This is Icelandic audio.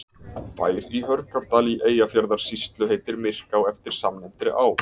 Bær í Hörgárdal í Eyjafjarðarsýslu heitir Myrká eftir samnefndri á.